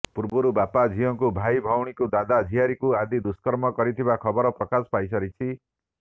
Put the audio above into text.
ପୂର୍ବରୁ ବାପା ଝିଅକୁ ଭାଇ ଭଉଣୀକୁ ଦାଦା ଝିଆରୀକୁ ଆଦି ଦୁଷ୍କର୍ମ କରିଥିବା ଖବର ପ୍ରକାଶ ପାଇ ସାରିଛି